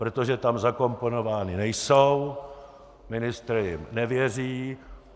Protože tam zakomponovány nejsou, ministr jim nevěří.